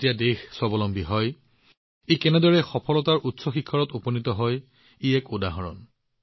যেতিয়া দেশখন আত্মনিৰ্ভৰ হয় কেনেকৈ ই সফলতাৰ নতুন উচ্চতাত উপনীত হয় ই ইয়াৰ এক উদাহৰণ